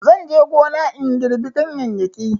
Zan tafi gona na girɓi ganyeyyaki